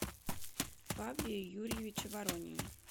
павле юрьевиче воронине